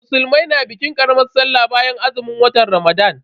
Musulmai na bikin karamar Sallah bayan azumin watan Ramadan.